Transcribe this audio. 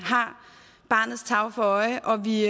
har barnets tarv for øje og vi